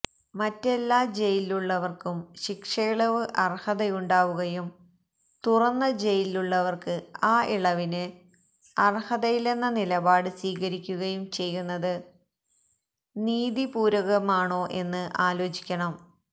മറ്റെല്ലാ ജയിലിലുള്ളവര്ക്കും ശിക്ഷയിളവിന് അര്ഹതയുണ്ടാവുകയും തുറന്ന ജയിലിലുള്ളവര്ക്ക് ആ ഇളവിന് അര്ഹതയില്ലെന്ന നിലപാട് സ്വീകരിക്കുകയും ചെയ്യുന്നത് നീതിപൂര്വകമാണോ എന്ന് ആലോചിക്കണം